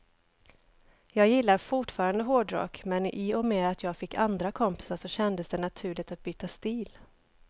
Jag gillar fortfarande hårdrock, men i och med att jag fick andra kompisar så kändes det naturligt att byta stil.